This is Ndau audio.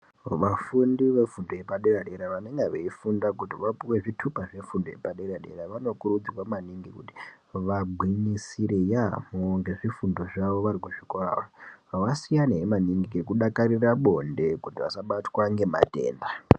Vafundi ve fundo yepa dera dera vanenga veyi funda kuti vapuwe zvitupa zve fundo yepa dera dera vano kurudzirwa maningi kuti va gwinyisire yamho nge zvifundo zvavo vari kuzvikora vasiyane maningi neku dakarire bonde kuti vasa batwa ne matenda.